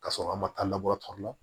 Ka sɔrɔ an ma taa labɔ tɔɔrɔ la